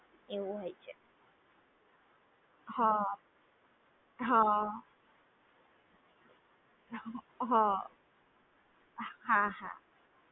એવું હોય છે હા હા હા હા હા